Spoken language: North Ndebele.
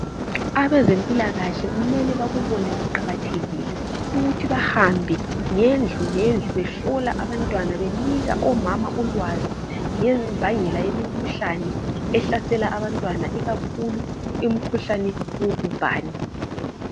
Abezempilakahle kumele bakubone kuqakathekile ukuthi bahambe ngendlu ngendlu behlola abantwana benika omama ulwazi ngembangela yemikhuhlane ehlasela abantwana ikakhulu imikhuhlane wogubhane